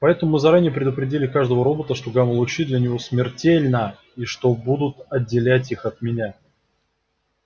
поэтому мы заранее предупредили каждого робота что гамма-лучи для него смертельна и что они будут отделять их от меня